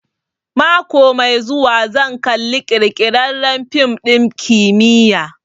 Mako mai zuwa zan kalla ƙirƙirarren fim ɗin kimiyya